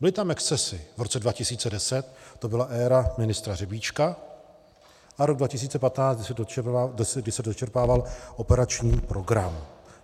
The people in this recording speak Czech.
Byly tam excesy v roce 2010, to byla éra ministra Řebíčka, a rok 2015, kdy se dočerpával operační program.